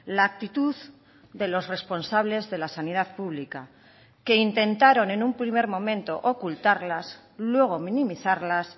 la actitud de los responsables de la sanidad pública que intentaron en un primer momento ocultarlas luego minimizarlas